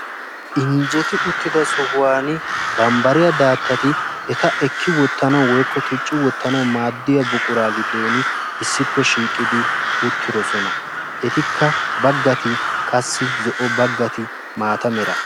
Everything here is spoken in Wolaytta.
Injjeti uttida sohuwaan bambariya daattati eta ekki wottanawu woykko tucci wottanawu maaddiya buquraa giddoon issippe shiiqidi uttidosona. Etikka baggati qassi zo"o baggati maata mera.